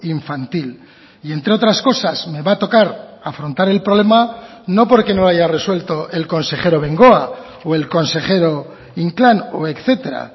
infantil y entre otras cosas me va a tocar afrontar el problema no porque no lo haya resuelto el consejero bengoa o el consejero inclán o etcétera